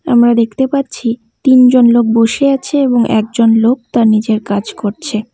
আমরা দেখতে পাচ্ছি তিনজন লোক বসে আছে এবং একজন লোক তার নিজের কাজ করছে।